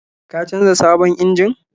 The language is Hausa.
Ka canza sabon injin?